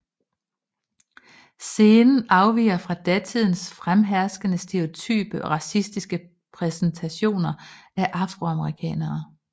Scenen afviger fra datidens fremherskende stereotype og racistiske præsentation af afroamerikanere